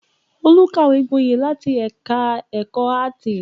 Olú kàwé gboyè láti ẹ̀ka-ẹ̀kọ́ áátì.